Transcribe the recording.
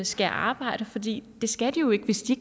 skal arbejde fordi det skal de jo ikke hvis de